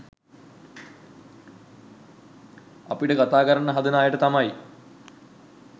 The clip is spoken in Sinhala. අපිට කතා කරන්න හදන අයට තමයි